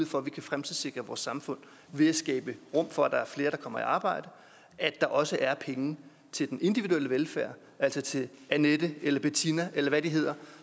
for at vi kan fremtidssikre vores samfund ved at skabe rum for at der er flere der kommer i arbejde at der også er penge til den individuelle velfærd altså til annette eller bettina eller hvad de hedder